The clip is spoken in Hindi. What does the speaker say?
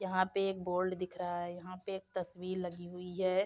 यहाँ पे एक बोल्ड दिख रहा है। यहाँ पे एक तस्वीर लगी हुई है।